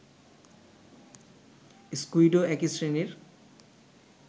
স্কুইডও একই শ্রেণীর